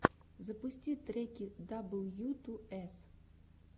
запусти треки дабл ю ту эс